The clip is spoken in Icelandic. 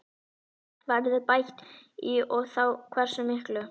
Verður bætt í og þá hversu miklu?